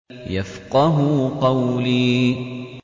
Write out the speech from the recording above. يَفْقَهُوا قَوْلِي